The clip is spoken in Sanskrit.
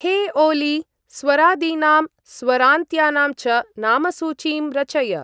हे ओली! स्वरादीनां, स्वारान्त्यानां च नामसूचीं रचय।